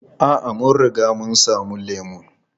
A'a, mun riga mun sami lemu.